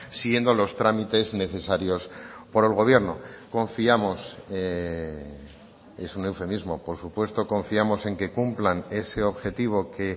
siguiendo los trámites necesarios por el gobierno confiamos es un eufemismo por supuesto confiamos en que cumplan ese objetivo que